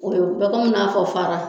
U bɛ i n'a fɔ fara.